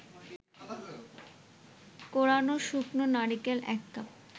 কোরানো শুকনো নারিকেল ১ কাপ